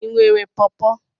Ị nwere pọọpo?